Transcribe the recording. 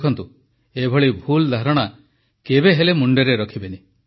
ଦେଖନ୍ତୁ ଏଭଳି ଭୁଲ ଧାରଣା କେବେହେଲେ ମୁଣ୍ଡରେ ରଖିବେନି